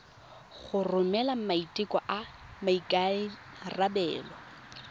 go romela maiteko a maikarebelo